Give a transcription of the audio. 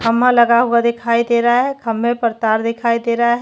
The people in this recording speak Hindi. खम्बा लगा हुआ दिखाई दे रहा है खम्बे पर तार दिखाई दे रहा है।